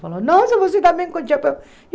Falou, nossa, você também com chapéu?